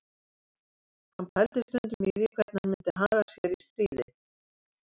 Hann pældi stundum í því hvernig hann myndi haga sér í stríði